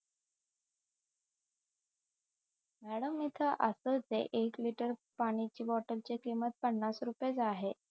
madam इथ असच आहे एक लीटर पाण्याच्या बॉटल ची किंमत पन्नास रुपये च आहे